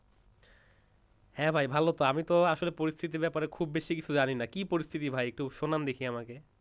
হ্যাঁ ভাই ভালোমতো আমি তো আসলে পরিস্থিতির ব্যাপারে খুব বেশি কিছু জানিনা কি পরিস্থিতি ভাই একটু শোনান দেখি আমাকে,